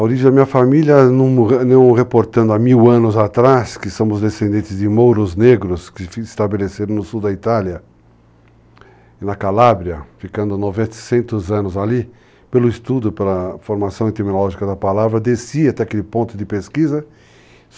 A origem da minha família, num, não reportando há mil anos atrás, que somos descendentes de mouros negros, que se estabeleceram no sul da Itália, na Calábria, ficando 900 anos ali, pelo estudo, pela formação etimológica da palavra, desci até aquele ponto de pesquisa.